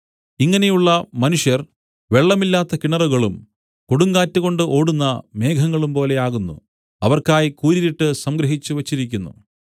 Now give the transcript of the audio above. ഇങ്ങനെയുള്ള മനുഷ്യർ വെള്ളമില്ലാത്ത കിണറുകളും കൊടുങ്കാറ്റുകൊണ്ട് ഓടുന്ന മേഘങ്ങളും പോലെയാകുന്നു അവർക്കായി കൂരിരുട്ട് സംഗ്രഹിച്ച് വെച്ചിരിക്കുന്നു